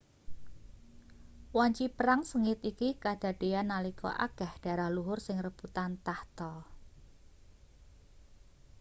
wanci perang sengit iki kadadeyan nalika akeh darah luhur sing rebutan tahta